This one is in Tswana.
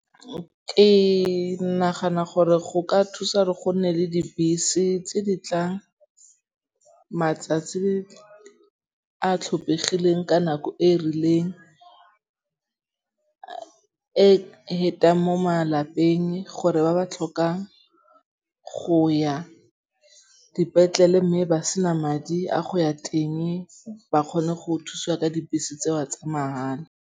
Ke nagana gore go ka thusa re go nne le dibese tse di tlang matsatsi a tlhopegileng ka nako e e rileng. E hetang mo malapeng gore ba ba tlhokang go ya dipetlele mme ba sena madi a go ya teng ba kgone go thusiwa ka dibese tsewa tsa mahala.